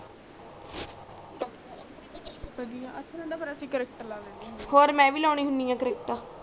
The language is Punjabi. ਬਦਿਆ ਆਥਣ ਤੇ ਫੇਰ ਅਸੀਂ cricket ਲਾ ਲੈਂਦੇ ਹੁੰਦੇ ਆ ਔਰ ਮੈਂ ਵੀ ਲੂਉਣੀ ਆ CRICKET